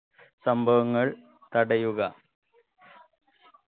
സംഭവങ്ങൾ തടയുക